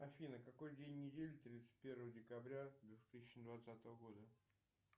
афина какой день недели тридцать первое декабря две тысячи двадцатого года